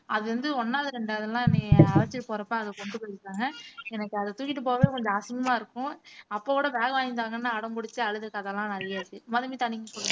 அது வந்து ஒண்ணாவது ரெண்டாவதெல்லாம் என்னைய அழைச்சிட்டு போறப்ப கொண்டு போயி விட்டாங்க எனக்கு அதை தூக்கிட்டு போகவே கொஞ்சம் அசிங்கமா இருக்கும் அப்ப கூட bag வாங்கி தாங்கன்னு அடம் பிடிச்சுட்டு அழுது கதையெல்லாம் நிறையா இருக்கு மதுமிதா நீங்க சொல்லுங்க